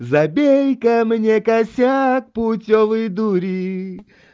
забей камни косяк путевой дури